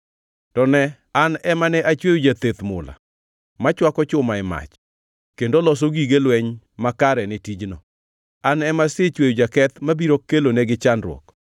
“To ne, an ema ne achweyo jatheth mula, machwako chuma e mach, kendo loso gige lweny makare ne tijno. An ema asechweyo jaketh mabiro kelonegi chandruok;